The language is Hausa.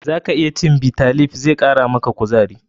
Zaka iya cin Bitter leaf, zai kara maka kuzare.